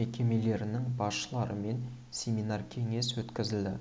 мекемелерінің басшыларымен семинар-кеңес өткізілді